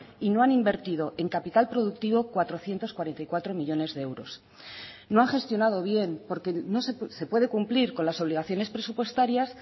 y no han invertido en capital productivo cuatrocientos cuarenta y cuatro millónes de euros no han gestionado bien porque se puede cumplir con las obligaciones presupuestarias